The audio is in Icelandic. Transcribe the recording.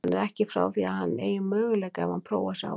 Hann er ekki frá því að hann eigi möguleika ef hann prófar sig áfram.